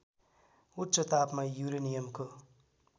उच्च तापमा युरेनियमको